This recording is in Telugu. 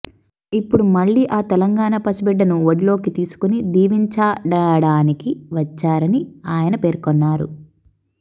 ఇప్పుడు మళ్లీ ఆ తెలంగాణ పసిబిడ్డను ఒడిలోకి తీసుకుని దీవించాడడానికి వచ్చారని ఆయన పేర్కొన్నారు